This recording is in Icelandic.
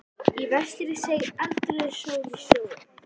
Í vestri seig eldrauð sól í sjóinn.